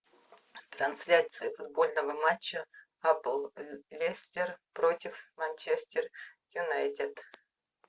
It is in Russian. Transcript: трансляция футбольного матча апл лестер против манчестер юнайтед